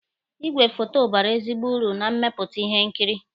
Igwe foto bara ezigbo uru na mmepụta ihe nkiri